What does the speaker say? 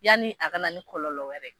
Yanni a ka na ni kɔlɔlɔ wɛrɛ ye.